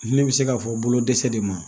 Ne bɛ se k'a fɔ bolo dɛsɛ de ma